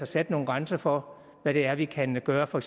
sat nogle grænser for hvad det er vi kan gøre for